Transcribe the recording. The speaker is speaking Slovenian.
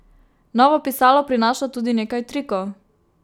Novo pisalo prinaša tudi nekaj trikov.